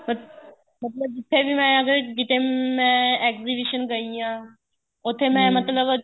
ਮਤਲਬ ਜਿੱਥੇ ਵੀ ਮੈਂ ਅਗਰ ਕਿੱਥੇ ਮੈਂ exhibition ਗਈ ਆ ਉੱਥੇ ਮੈਂ ਮਤਲਬ